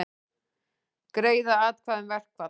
Greiða atkvæði um verkfall